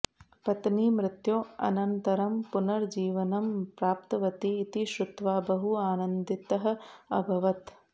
पत्नी मृत्योः अनन्तरं पुनर्जीवनं प्राप्तवती इति श्रुत्वा बहु आनन्दितः अभवत्